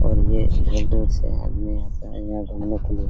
और ये बहुत दूर से आदमी आता है घूमने के लिए --